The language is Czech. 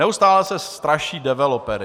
Neustále se straší developery.